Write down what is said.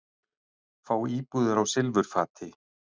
Fá íbúðir á silfurfati